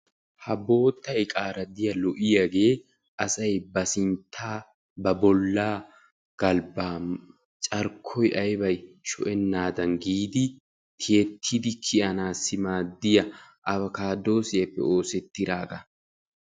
Ha bootta iqaara diyagee asay ba sinttaa galbaa carkkoy aybay shoccenaadan giidi tiyettidi kiyanaassi maadiya avokaadoosiyaappe oosettidaagaa